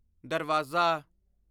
ਦਰਵਾਜ਼ਾ